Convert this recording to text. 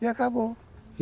E acabou.